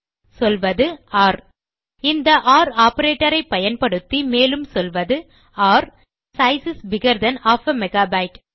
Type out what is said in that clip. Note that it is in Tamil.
சொல்வது ஒர் இந்த ஒர் ஆப்பரேட்டர் ஐ பயன்படுத்தி மேலும் சொல்வது ஒர் the size is bigger than half a megabyte